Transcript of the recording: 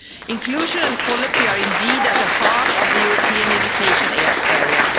Inclusion and equality are indeed at the heart of the European Education Area.